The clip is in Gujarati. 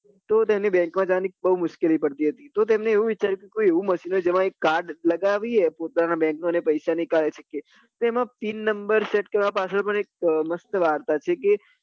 તો તેમને bank જવાની બૈં મુશ્કેલી પડતી હતી તો એમને એવું વિચાર્યું કે કોઈ machine હોય જેમાં card લગાવીએ પોતાના bank નું અને પૈસા નીકળી શકીએ તો એમાં pin number set કરવા પાચલ પણ એક મસ્ત વાર્તા છે કે